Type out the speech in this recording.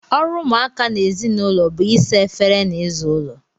Ọrụ ụmụaka n'ezinaulo bú ịsa efere na iza ụlọ.